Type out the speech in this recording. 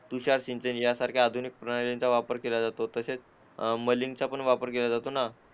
तुषार सिंचन यासारख्या आधुनिक प्रणालींचा वापर केला जातो तसेच मलिंगचा पण वापर केला जातो ना